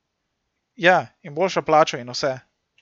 Ja, in boljšo plačo in vse.